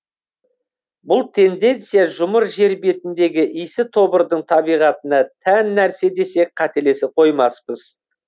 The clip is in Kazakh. бұл тенденция жұмыр жер бетіндегі исі тобырдың табиғатына тән нәрсе десек қателесе қоймаспыз